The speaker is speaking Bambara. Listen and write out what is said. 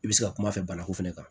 I bɛ se ka kuma fɛ banaku fana kan